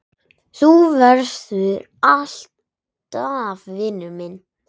Þú verður alltaf vinur minn.